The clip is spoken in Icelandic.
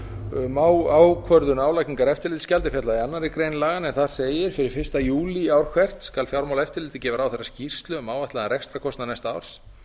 um ákvörðun álagningar eftirlitsgjaldsins er fjallað í annarri grein laganna en þar segir fyrir fyrsta júlí ár hvert skal fjármálaeftirlitið gefa ráðherra skýrslu um áætlaðan rekstrarkostnað næsta árs